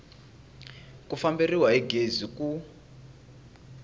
ku famberiwa hi gezi ku